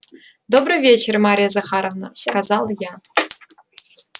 добрый вечер марья захаровна сказал я